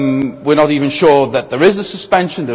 etc. We are not even sure that there is a suspension.